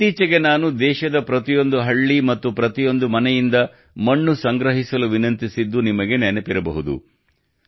ಇತ್ತೀಚಿಗೆ ನಾನು ದೇಶದ ಪ್ರತಿಯೊಂದು ಹಳ್ಳಿ ಮತ್ತು ಪ್ರತಿ ಮನೆಯಿಂದ ಮಣ್ಣು ಸಂಗ್ರಹಿಸಲು ವಿನಂತಿಸಿದ್ದು ನಿಮಗೆ ನೆನಪಿರಬಹುದು